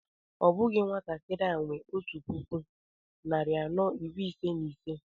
Ọ bụghị nwatakịrị a nwe ọtu puku naira narị anọ iri ise na ise